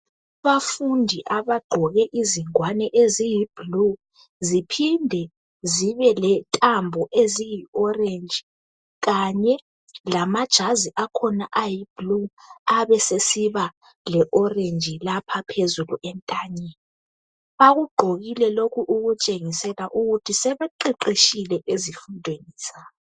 Abafundi abegqoke izingwane eziyiblue Ziphinde zibe lentambo eziyi orange. Kanye lamajazi akhona ayi blue. Abesesiba le-orange, lapha phezulu entanyeni. Bakugqokile lokhu, ukutshengisa ukuthi sebeqeqetshile ezifundweni zabo.